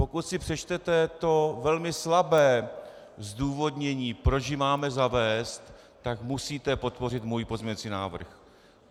Pokud si přečtete to velmi slabé zdůvodnění, proč ji máme zavést, tak musíte podpořit můj pozměňovací návrh.